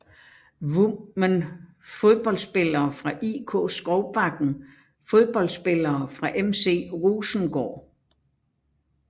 Women Fodboldspillere fra IK Skovbakken Fodboldspillere fra FC Rosengård